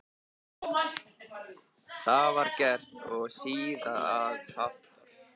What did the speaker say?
Það var gert og síðan að aftan.